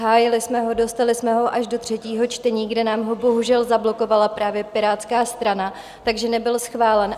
Hájili jsme ho, dostali jsme ho až do třetího čtení, kde nám ho bohužel zablokovala právě Pirátská strana, takže nebyl schválen.